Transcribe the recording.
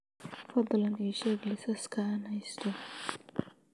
fadlan ii sheeg liisaska aan haysto